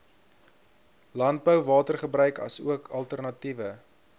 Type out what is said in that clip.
landbouwatergebruik asook alternatiewe